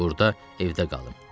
Burda evdə qalım.